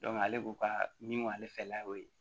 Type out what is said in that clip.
ale b'u ka min fɛnɛ la o ye